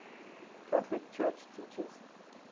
catholic church teaches